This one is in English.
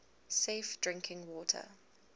safe drinking water